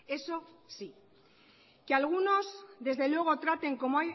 eso sí que algunos desde luego traten como